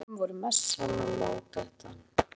Mikilvæg tónlistarform voru messan og mótettan.